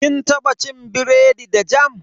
Kin taba cin biredi da jam?